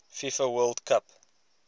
fifa world cup